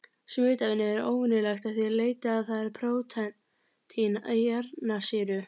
Smitefnið er óvenjulegt að því leyti að það er prótín án kjarnasýru.